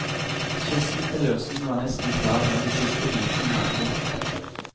Skissen til løsning var nesten klar, men de siste bitene manglet.